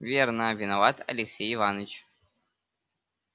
верно виноват алексей иваныч